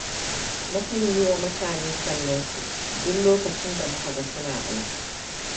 Mukan yi wa mutane sannu duk lokacin da muka ga suna aiki.